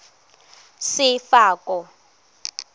sefako